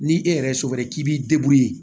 Ni e yɛrɛ ye so wɛrɛ k'i b'i